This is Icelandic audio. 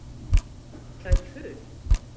Það er puð.